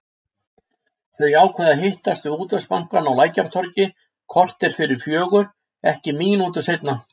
Þau ákveða að hittast við Útvegsbankann á Lækjartorgi korter fyrir fjögur, ekki mínútu seinna.